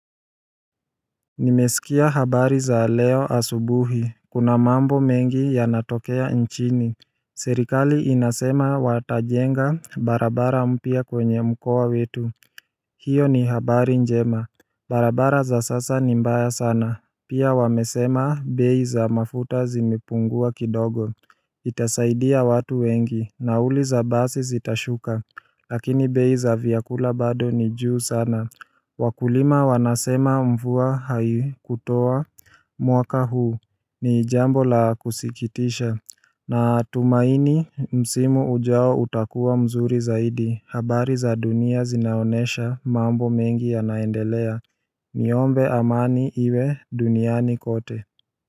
Nimesikia habari za leo asubuhi, kuna mambo mengi yanatokea nchini Serikali inasema watajenga barabara mpya kwenye mkoa wetu hiyo ni habari njema barabara za sasa ni mbaya sana pia wamesema bei za mafuta zimepungua kidogo Itasaidia watu wengi, nauli za basi zitashuka lakini bei za vyakula bado ni juu sana Wakulima wanasema mvua haikutoa mwaka huu ni jambo la kusikitisha Natumaini msimu ujao utakuwa mzuri zaidi habari za dunia zinaonesha mambo mengi yanaendelea Niombe amani iwe duniani kote.